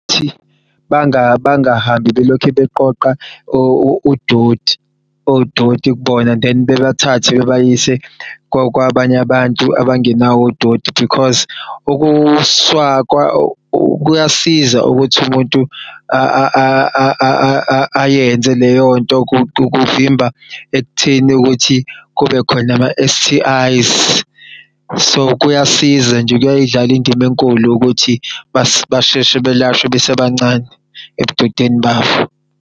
Bangahambi belokhu beqoqa udoti odoti kubona then bebathathe bebayise kwabany'abantu abangenawo odoti because kuyasiza ukuthi umuntu ayenze leyonto kuvimba ekutheni ukuthi kubekhona ama-S_T_I_s. So kuyasiza nje kuyay'dlala indim'enkulu ukuthi basheshe belashwe besebancane, ebudodeni babo.